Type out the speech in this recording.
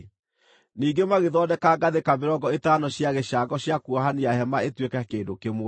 Ningĩ magĩthondeka ngathĩka mĩrongo ĩtano cia gĩcango cia kuohania hema ĩtuĩke kĩndũ kĩmwe.